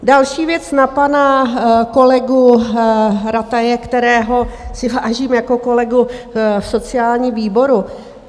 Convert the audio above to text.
Další věc na pana kolegu Rataje, kterého si vážím jako kolegy v sociálním výboru.